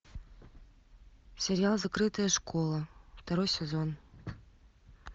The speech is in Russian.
сериал закрытая школа второй сезон